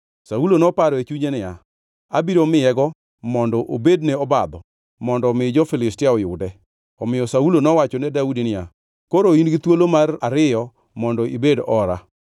Saulo noparo e chunye niya, “Abiro miyego, mondo obedne obadho mondo omi jo-Filistia oyude.” Omiyo Saulo nowachone Daudi niya, “Koro in-gi thuolo mar ariyo mondo ibed ora.”